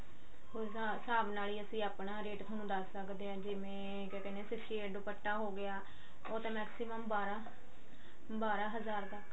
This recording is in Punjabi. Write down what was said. ਉਸ ਹਿਸਾਬ ਨਾਲ ਹੀ ਅਸੀਂ ਆਪਣਾ ਰੇਟ ਥੋਨੂੰ ਦੱਸ ਸਕਦੇ ਹਾਂ ਜਿਵੇਂ ਕਿਆ ਕਹਿਨੇ ਹਾਂ sixty eight ਦੁਪੱਟਾ ਹੋਗਿਆ ਉਹ ਤਾਂ maximum ਬਾਰਾਂ ਬਾਰਾਂ ਹਜ਼ਾਰ ਤੱਕ